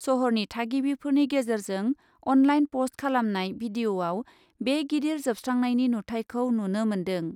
शहरनि थागिबिफोरनि गेजेरजों अनलाइन पस्ट खालामनाय भिडियआव बे गिदिर जोबस्रांनायनि नुथाइखौ नुनो मोन्दों ।